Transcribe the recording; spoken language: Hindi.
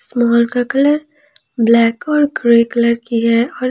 इस मॉल का कलर ब्लैक और ग्रे कलर की है और--